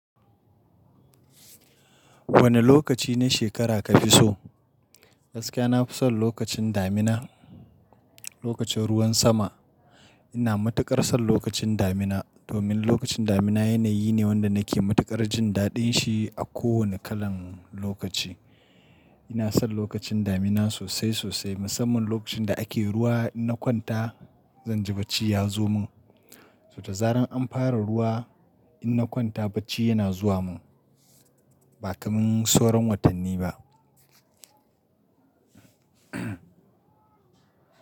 Wane lokaci na shekara ka fi so? Gaskiya na fi son lokacin damina, lokacin ruwan sama. Ina matuƙar son lokacin damina domin lokacin damina yanayi ne wanda nake matuƙar jin daɗin shi a kowane kalan lokaci. Ina son lokacin damina sosai sosai, musamman lokacin da ake ruwa in na kwanta zan ji bacci ya zo min. So da zaran an fara ruwa in na kwanta bacci yana zuwa min. Ba kamar sauran watanni ba.